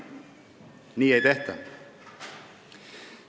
Nii ei tehta!